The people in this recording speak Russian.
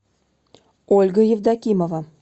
ольга евдокимова